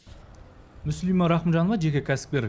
мүслима рахымжанова жеке кәсіпкер